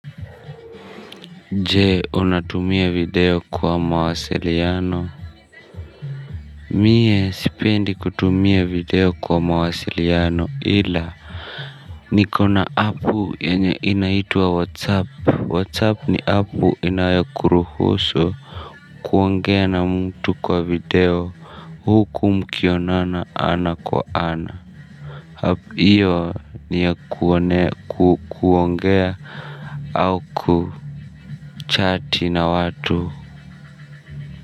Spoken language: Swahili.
Je unatumia video kwa mawasiliano mie sipendi kutumia video kwa mawasiliano ila nikona app yenye inaitwa whatsapp whatsapp ni app inayokuruhusu kuongea na mtu kwa video huku mkionana ana kwa ana app iyo ni ya kuongea au kuchati na watu.